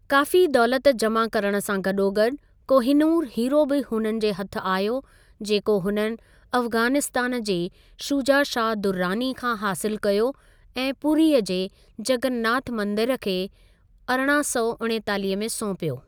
काफ़ी दौलति जमा करणु सां गॾोगॾु, कोहिनूर हीरो बि हुननि जे हथ आयो, जेको हुननि अफ़गानिस्तान जे शुजा शाह दुर्रानी खां हासिलु कयो ऐं पूरीअ जे जॻन्नाथ मंदिरु खे अरिड़हां सौ उणेतालीह में सौंपियो।